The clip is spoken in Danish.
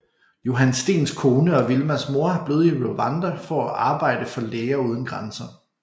Johan Steens kone og Wilmas mor er blevet i Rwanda for at arbejde for Læger uden grænser